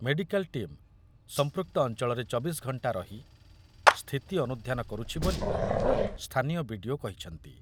Medical team ସମ୍ପୃକ୍ତ ଅଞ୍ଚଳରେ ଚବିଶ ଘଣ୍ଟା ରହି ସ୍ଥିତି ଅନୁଧ୍ୟାନ କରୁଛି ବୋଲି ସ୍ଥାନୀୟ ବିଡିଓ କହିଛନ୍ତି।